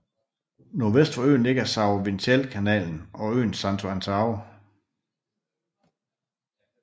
Nordvest for øen ligger São Vicentekanalen og øen Santo Antão